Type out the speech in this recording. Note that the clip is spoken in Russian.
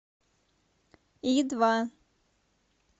и два